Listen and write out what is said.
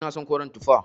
Ina son koren tufa.